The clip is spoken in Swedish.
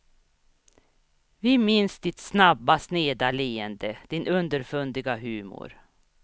Vi minns ditt snabba sneda leende, din underfundiga humor.